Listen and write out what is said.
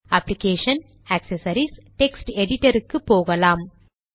application GT accessories GT text editor க்கு போகலாம்